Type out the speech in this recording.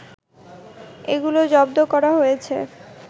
এগুলো জব্দ করা হয়েছে